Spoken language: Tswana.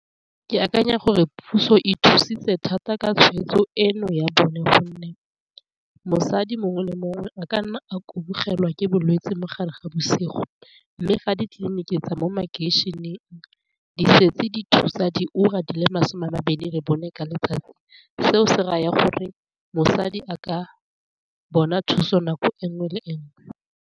Ke akanya gore puso e thusitse thata ka tshweetso eno ya bone gonne, mosadi mongwe le mongwe a ka nna a kubogelwa ke bolwetse mogare ga bosigo, mme ga ditleliniki tsa mo makeišeneng di setse di thusa di ura di le masome a mabedi re bone ka letsatsi, seo se raya gore mosadi a ka bona thuso nako enngwe le enngwe.